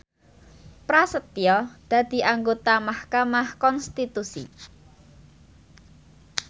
Prasetyo dadi anggota mahkamah konstitusi